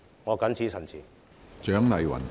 我謹此陳辭。